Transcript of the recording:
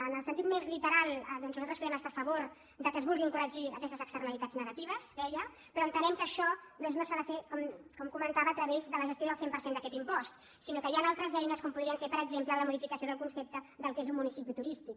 en el sentit més literal doncs nosaltres podem estar a favor que es vulguin corregir aquestes externalitats negatives deia però entenem que això no s’ha de fer com comentava a través de la gestió del cent per cent d’aquest impost sinó que hi han altres eines com podrien ser per exemple la modificació del concepte del que és un municipi turístic